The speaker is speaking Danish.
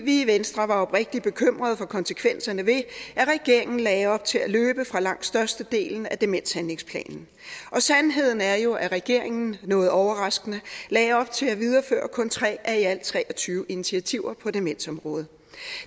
vi i venstre var oprigtigt bekymrede for konsekvenserne ved at regeringen lagde op til at løbe fra langt størstedelen af demenshandlingsplanen og sandheden er jo at regeringen noget overraskende lagde op til at videreføre kun tre af i alt tre og tyve initiativer på demensområdet